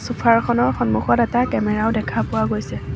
Sofa ৰ খনৰ সন্মুখত এটা কেমেৰা ও দেখা পোৱা গৈছে।